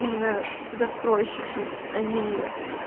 именно застройщики а ни